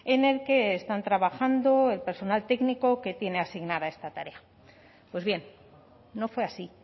en el que están trabajando el personal técnico que tiene asignada esta tarea pues bien no fue así